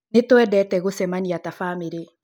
Nĩtũendete gũcemania ta bamĩrĩ